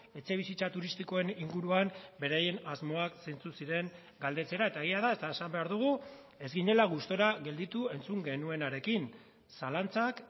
etxebizitza turistikoen inguruan beraien asmoak zeintzuk ziren galdetzera eta egia da eta esan behar dugu ez ginela gustura gelditu entzun genuenarekin zalantzak